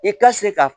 I ka se ka